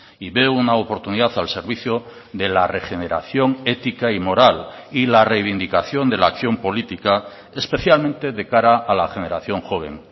y veo una oportunidad al servicio de la regeneración ética y moral y la reivindicación de la acción política especialmente de cara a la generación joven